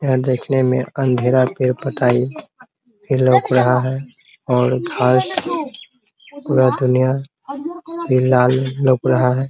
यह देखने में अँधेरा भी बताइये ये लउक रहा है और घास पूरा दुनिया भी लाल लउक रहा है ।